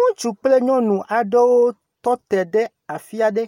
Ŋutsu kple nyɔnu aɖewo tɔ aɖe afi aɖe.